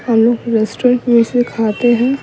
हम लोग रेस्टोरेंट में इसे खाते हैं।